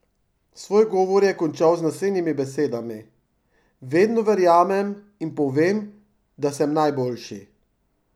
Svoj govor je končal z naslednjimi besedami: "Vedno verjamem in povem, da sem najboljši.